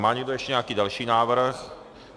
Má někdo ještě nějaký další návrh?